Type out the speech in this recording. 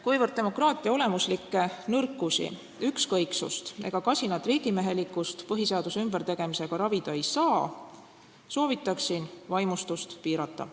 Kuivõrd demokraatia olemuslikke nõrkusi, ükskõiksust ega kasinat riigimehelikkust põhiseaduse ümbertegemisega ravida ei saa, siis soovitaksin vaimustust piirata.